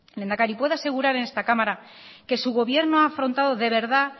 lehendakari puede asegurar en esta cámara que su gobierno ha afrontado de verdad